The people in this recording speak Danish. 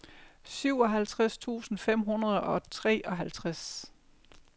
syvoghalvtreds tusind fem hundrede og treoghalvtreds